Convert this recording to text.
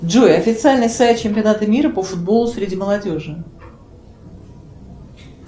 джой официальный сайт чемпионата мира по футболу среди молодежи